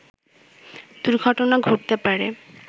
দুর্ঘটনা ঘটতে পারে